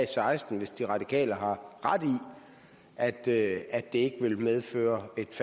seksten hvis de radikale har ret i at det ikke vil medføre et